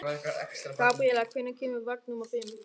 Gabriela, hvenær kemur vagn númer fimm?